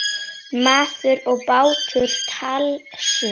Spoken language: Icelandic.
Maður og bátur- tálsýn?